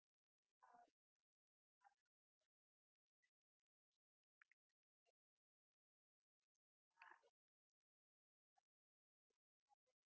अं हो sir ते अगदी खरं आहे म्हणजे असे हि होऊ शकत तुम्ही जे म्हणले कि पहिले cardboard sheet तर पावसामुळे पुठ्ठा ओला होतो.